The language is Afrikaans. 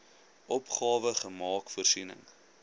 opgawe maak voorsiening